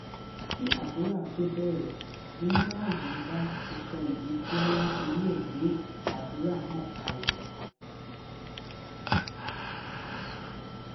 kí àdúrà tóo bẹrẹ ni malaji nda ti sọ ìdí tí wọn ń torí ẹ gbé àdúrà náà kalẹ